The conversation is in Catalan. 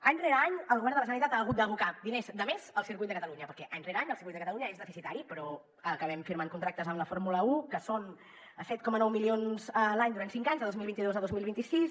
any rere any el govern de la generalitat ha hagut d’abocar diners de més al circuit de catalunya perquè any rere any el circuit de catalunya és deficitari però acabem firmant contractes amb la fórmula un que són set coma nou milions l’any durant cinc anys de dos mil vint dos a dos mil vint sis